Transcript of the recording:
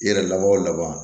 I yɛrɛ laban o laban